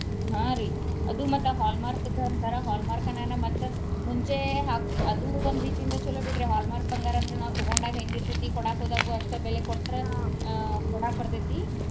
ಹಾ ರಿ ಅದು ಮತ್ತ hallmark ದ್ದ ಅಂತಾರ hallmark ಅನ್ನಾನ ಮತ್ತ ಮುಂಚೆ ಹಾ ಅದು ಒಂದ ರೀತಿಂದ ಚಲೊ ಬಿಡ್ರಿ hallmark ಬಂಗಾರ ಅಂದ್ರ ನಾವ ತಗೊಂಡಾಗ ಹೆಂಗ ಇರ್ತೆತಿ ಕೋಡಾಕ ಹೋದಾಗು ಅಷ್ಟ ಬೆಲೆ ಕೊಟ್ರ ಆಹ್ ಕೋಡಾಕ ಬರ್ತೆತಿ .